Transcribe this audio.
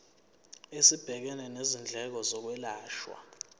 esibhekene nezindleko zokwelashwa